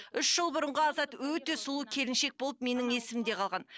үш жыл бұрынғы азат өте сұлу келіншек болып менің есімде қалған